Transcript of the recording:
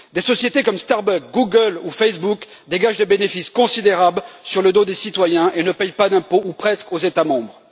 Des sociétés comme Starbucks, Google ou Facebook dégagent des bénéfices considérables sur le dos des citoyens et ne payent pas d'impôts, ou presque, aux États membres.